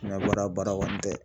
N'a bɔra baara kɔni tɛ.